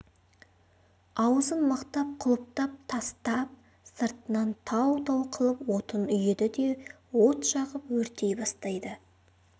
аузын мықтап құлыптап тастап сыртынан тау-тау қылып отын үйеді де от жағып өртей бастайды